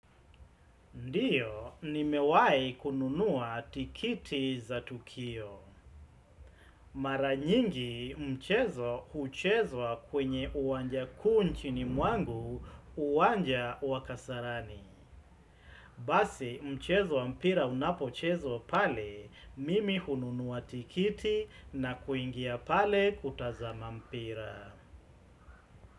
Ndiyo, nimewahi kununua tikiti za tukio. Mara nyingi, mchezo huchezwa kwenye uwanja kuu nchini mwangu, uwanja wa Kasarani. Basi, mchezo mpira unapochezwa pale, mimi hununuwa tikiti na kuingia pale kutazama mpira.